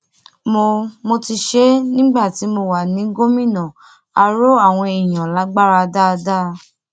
mo mo ti ṣe é nígbà tí mo wà ní gómìnà á rọ àwọn èèyàn lágbára dáadáa